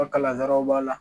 U Kalansaraw b'a la